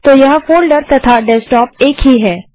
तो यह फोल्डर तथा डेस्कटॉप एक ही हैं